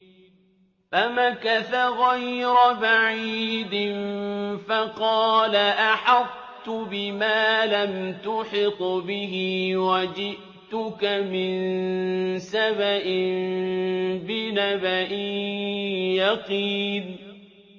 فَمَكَثَ غَيْرَ بَعِيدٍ فَقَالَ أَحَطتُ بِمَا لَمْ تُحِطْ بِهِ وَجِئْتُكَ مِن سَبَإٍ بِنَبَإٍ يَقِينٍ